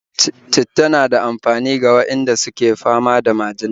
Citta na da amfani ga waɗanda suke fama da majina